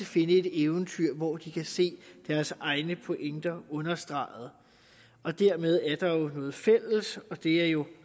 finde et eventyr hvor de kan se deres egne pointer understreget dermed er der noget fælles og det er jo